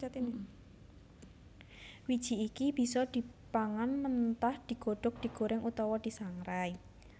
Wiji iki bisa dipangan mentah digodhog digorèng utawa disangrai